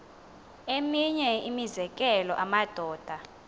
eminye imizekelo amadoda